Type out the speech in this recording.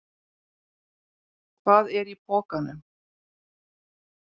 Hvað er í pokanum?